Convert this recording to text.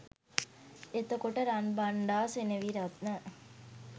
එතකොට රන්බණ්ඩා සෙනවිරත්න